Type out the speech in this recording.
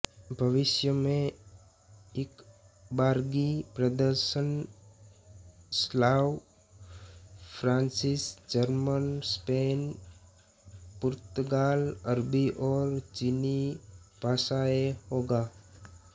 भविष्य में इकबारगी प्रदर्शन स्लाव फ़्रांसीसी जर्मन स्पेन पुर्तगाल अरबी और चीनी भाषाऐं होगा